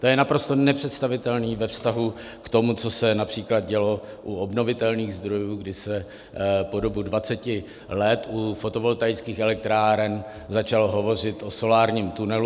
To je naprosto nepředstavitelné ve vztahu k tomu, co se například dělo u obnovitelných zdrojů, kdy se po dobu 20 let u fotovoltaických elektráren začalo hovořit o solárním tunelu.